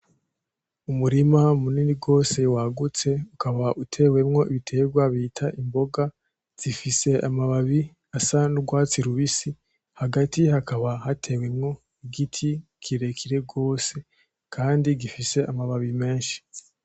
Umurima munini gose wagutse ukaba utewemwo ibiterwa bita imboga zifise amababi asa n'urwatsi rubisi hagati hakaba hateye igiti kirekire gose kandi gifise amababi meshi.